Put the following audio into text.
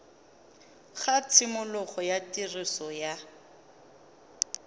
ga tshimologo ya tiriso ya